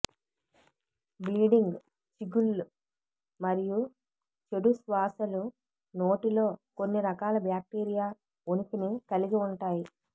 bleeding చిగుళ్ళు మరియు చెడు శ్వాసలు నోటిలో కొన్ని రకాల బాక్టీరియా ఉనికిని కలిగి ఉంటాయి